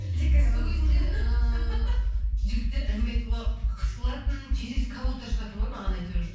дикая роза сол кезінде ыыы жігіттер әңгіме айтуға қысылатын через кого то шығатын ғой маған әйтеуір